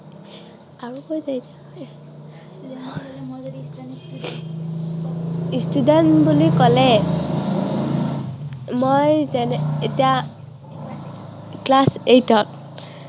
student বুলি কলে মই যেনে এতিয়া class eight ত